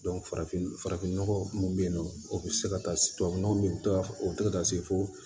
farafin farafin nɔgɔ mun bɛ yen nɔ o bɛ se ka taa se tubabu nɔgɔ de bɛ to o bɛ to ka taa se fo